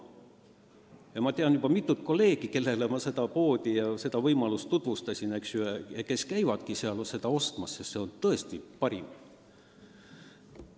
Ja ma tean juba mitut kolleegi, kellele ma seda poodi ja seda võimalust tutvustasin ja kes käivadki seal turul seda leiba ostmas, sest see on tõesti parim.